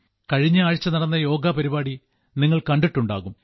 കഴിഞ്ഞ ആഴ്ച നടന്ന യോഗ പരിപാടി നിങ്ങൾ കണ്ടിട്ടുണ്ടാകും